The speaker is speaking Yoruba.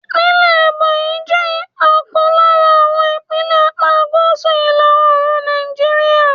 Ìpínlẹ̀ Ebonyi jẹ́ ọ̀kan lára àwọn ìpínlẹ̀ apá gúúsù ìlà Òòrùn Nàìjíríà.